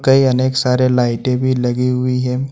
कई अनेक सारे लाईटें भी लगी हुई हैं।